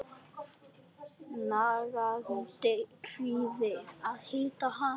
Nagandi kvíði að hitta hana.